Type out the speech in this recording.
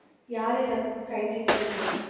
யாரிடமும் கை நீட்டவில்லை.